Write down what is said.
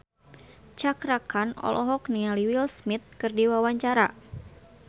Cakra Khan olohok ningali Will Smith keur diwawancara